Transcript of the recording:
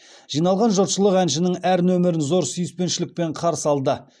жиналған жұртшылық әншінің әр нөмірін зор сүйіспеншілікпен қарсы алды